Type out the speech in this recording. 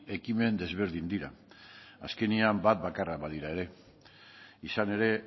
ekimen ezberdin dira azkenean bat bakarra badira ere izan ere